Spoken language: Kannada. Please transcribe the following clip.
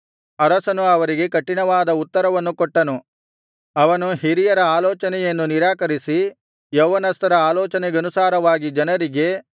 ಅರಸನು ಅವರಿಗೆ ಕಠಿಣವಾದ ಉತ್ತರವನ್ನು ಕೊಟ್ಟನು ಅವನು ಹಿರಿಯರ ಆಲೋಚನೆಯನ್ನು ನಿರಾಕರಿಸಿ ಯೌವನಸ್ಥರ ಆಲೋಚನೆಗನುಸಾರವಾಗಿ ಜನರಿಗೆ